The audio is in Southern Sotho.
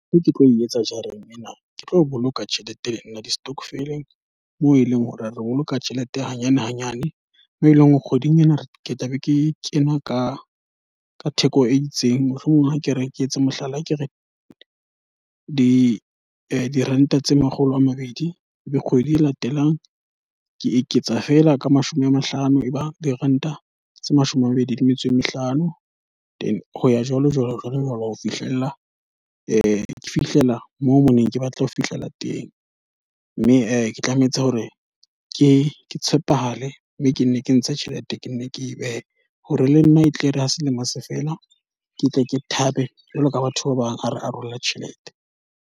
E ke tlo e etsa jareng ena, ke tlo boloka tjhelete ena ya di-stockvel-eng. Moo e leng hore a re boloka tjhelete hanyane hanyane. Mo eleng hore kgweding ena ke tla be ke kena ka ka theko e itseng. Mohlomong ha ke re ke etse mohlala a ke re, diranta tse makgolo a mabedi, le kgwedi e latelang ke eketsa fela ka mashome a mahlano e ba diranta tse mashome a mabedi le metso e mehlano. Then hoya jwalo jwalo jwalo jwalo ho fihlella moo mo ne ke batla ho fihlela teng. Mme ke tlametse hore ke tshepahale mme ke nne ke ntshe tjhelete, ke nne ke behe hore le nna e tle re ha selemo se fela ketle ke thabe jwalo ka batho ba bang a re arole tjhelete.